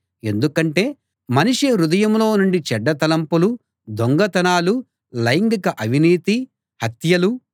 ఎందుకంటే మనిషి హృదయంలో నుండి చెడ్డ తలంపులు దొంగతనాలు లైంగిక అవినీతి హత్యలు